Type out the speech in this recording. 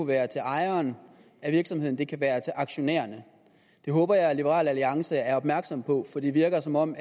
være til ejeren af virksomheden det kan være til aktionærerne det håber jeg liberal alliance er opmærksom på for det virker som om